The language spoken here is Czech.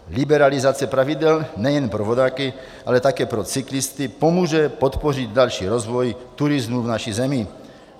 Liberalizace pravidel nejen pro vodáky, ale také pro cyklisty pomůže podpořit další rozvoj turismu v naší zemi.